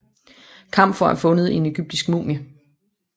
Kamfer er fundet i en egyptisk mumie